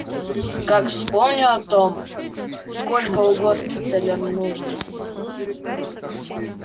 как вспомню о том сколько у госпиталя нужд